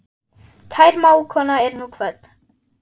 Kær mágkona er nú kvödd.